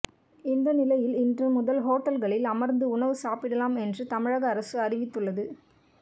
இந்த நிலையில் இன்று முதல் ஓட்டல்களில் அமர்ந்து உணவு சாப்பிடலாம் என்று தமிழக அரசு அறிவித்துள்ளது